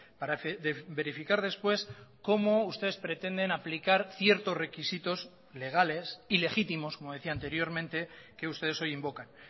para verificar después cómo ustedes pretenden aplicar ciertos requisitos legales y legítimos como decía anteriormente que ustedes hoy invocan